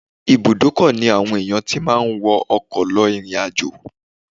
Ibùdókọ̀ ni àwọn ènìyàn ti máa ń wọ ọkọ̀ lọ ìrìn-àjò